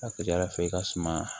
A ka ca ala fɛ i ka suma